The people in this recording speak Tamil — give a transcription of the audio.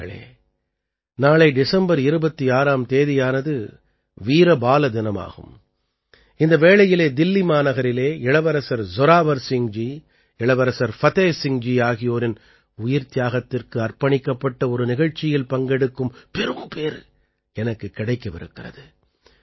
நண்பர்களே நாளை டிசம்பர் 26ஆம் தேதியானது வீர பால தினம் ஆகும் இந்த வேளையிலே தில்லி மாநகரிலே இளவரசர் ஜோராவர் சிங்ஜி இளவரசர் ஃபதேஹ் சிங்ஜி ஆகியோரின் உயிர்த்தியாகத்திற்கு அர்ப்பணிக்கப்பட்ட ஒரு நிகழ்ச்சியில் பங்கெடுக்கும் பெரும்பேறு எனக்குக் கிடைக்கவிருக்கிறது